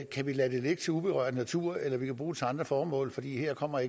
kan vi lade det ligge til uberørt natur eller vi kan bruge det til andre formål for her kommer